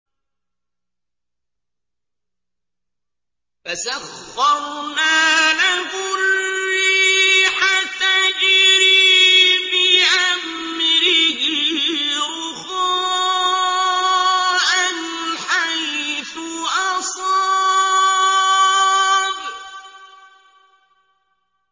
فَسَخَّرْنَا لَهُ الرِّيحَ تَجْرِي بِأَمْرِهِ رُخَاءً حَيْثُ أَصَابَ